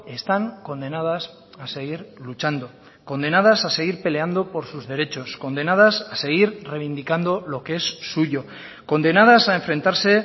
están condenadas a seguir luchando condenadas a seguir peleando por sus derechos condenadas a seguir reivindicando lo que es suyo condenadas a enfrentarse